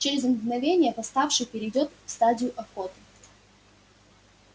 через мгновение восставший перейдёт в стадию охоты